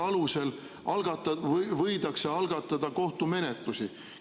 Kas selle alusel võidakse algatada kohtumenetlus?